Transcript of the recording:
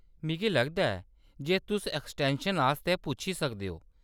मिगी लगदा ऐ जे तुस एक्सटैंशन आस्तै पुच्छी सकदे ओ।